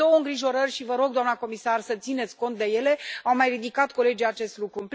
Însă am două îngrijorări și vă rog, doamnă comisar, să țineți cont de ele, au mai ridicat colegii acest lucru.